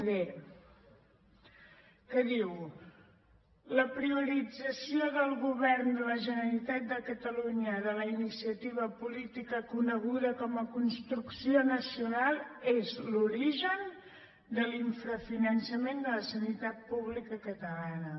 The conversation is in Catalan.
d que diu la priorització del govern de la generalitat de catalunya de la iniciativa política coneguda com a construcció nacional és l’origen de l’infrafinançament de la sanitat pública catalana